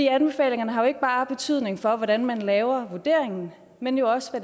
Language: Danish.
anbefalingerne har jo ikke bare betydning for hvordan man laver vurderingen men jo også for